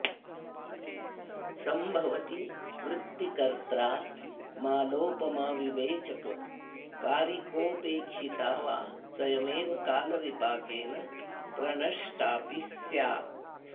सम्भवति वृत्तिकर्त्रा मालोपमाविवेचककारिकोपेक्षिता वा स्वयमेव कालविपाकेन प्रणष्टाऽपि स्यात्